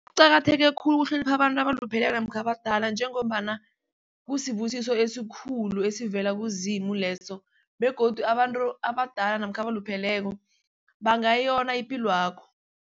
Kuqakatheke khulu ukuhlonipha abantu abalupheleko namkha abadala njengombana kusibusiso esikhulu esivela kuZimu leso begodu abantu abadala namkha abalupheleko bangayona ipilwakho.